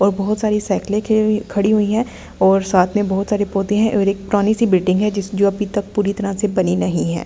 और बहुत सारी साइकल खड़ी हुई है और साथ में बहुत सारे पौधे हैं और एक पुरानी सी बिल्डिंग है जो अभी तक पूरी तरह से पड़ी नहीं है।